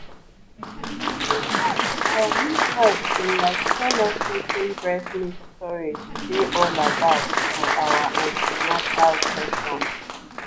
in fact our midwife been like tell us wetin breast milk storage dey all about for our an ten atal sessions